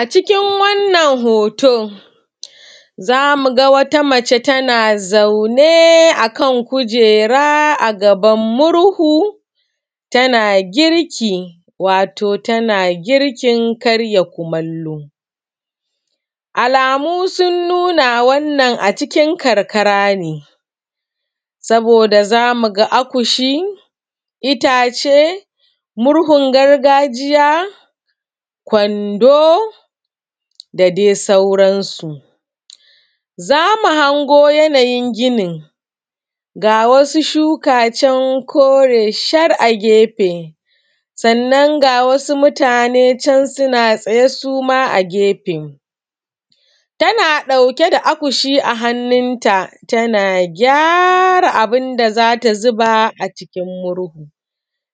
a cikin wannan hoto za mu ga wata mace tana zaune a kan kujera a gaban murhu tana girki wato tana girkin karya kumallo alamu sun nuna wannan a cikin karkara ne saboda za mu ga akushi itace murhun gargajiya kwando da dai sauransu za mu hango yanayin ginin ga wasu shuka can kore shar a gefe sannan ga wasu mutane can suna tsaye suma a gefe tana ɗauke da akushi a hannunta tana gyara abun da za ta zuba a cikin murhu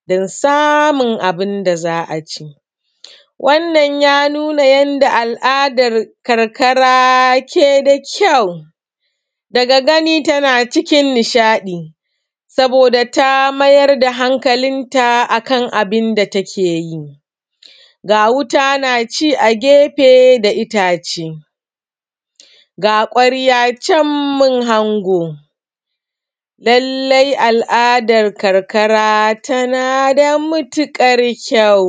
don samun abun da za a ci wannan ya nuna yanda al’adar karkara ke da kyau daga gani tana cikin nishaɗi saboda ta mayar da hankalinta a kan abinda take yi ga wuta na ci a gefe da itace ga ƙwarya can mun hango lallai al’adar karkara tana da matuƙar kyau